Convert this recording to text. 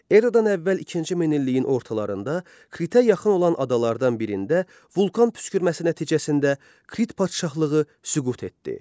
Eradan əvvəl ikinci minilliyin ortalarında Kritə yaxın olan adalardan birində vulkan püskürməsi nəticəsində Krit padşahlığı süqut etdi.